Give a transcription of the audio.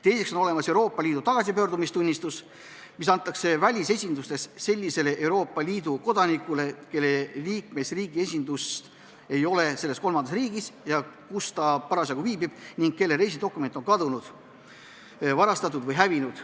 Teiseks on olemas Euroopa Liidu tagasipöördumistunnistus, mis antakse välisesindustes sellisele Euroopa Liidu kodanikule, kelle liikmesriigi esindust ei ole selles kolmandas riigis, kus ta parasjagu viibib, ning kelle reisidokument on kadunud, varastatud või hävinud.